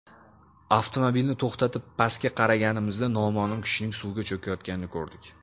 Avtomobilni to‘xtatib, pastga qaraganimizda noma’lum kishining suvga cho‘kayotganini ko‘rdik.